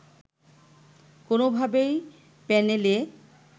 কোনোভাবেই প্যানেলে